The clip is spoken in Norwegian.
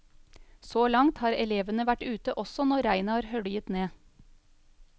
Så langt har elevene vært ute også når regnet har høljet ned.